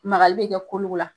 Magali be kɛ kolow la